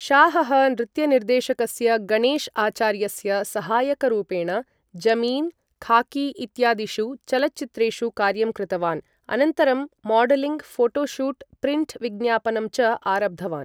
शाहः नृत्यनिर्देशकस्य गणेश आचार्यस्य सहायकरूपेण जमीन, खाकी इत्यादिषु चलच्चित्रेषु कार्यं कृतवान् अनन्तरं मॉडलिंग्, फोटो शूट्, प्रिंट् विज्ञापनं च आरब्धवान् ।